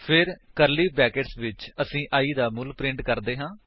ਫਿਰ curly brackets ਵਿੱਚ ਅਸੀ i ਦਾ ਮੁੱਲ ਪ੍ਰਿੰਟ ਕਰਦੇ ਹਾਂ